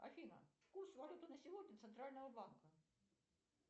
афина курс валюты на сегодня центрального банка